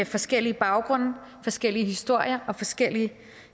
forskellige baggrunde forskellige historier og forskellige